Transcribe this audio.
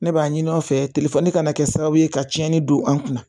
Ne b'a ɲini u nɔfɛ kana kɛ sababu ye ka tiɲɛni don an kunna